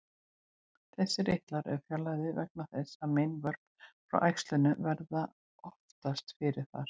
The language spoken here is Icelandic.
Þessir eitlar eru fjarlægðir vegna þess að meinvörp frá æxlinu verða oftast fyrst þar.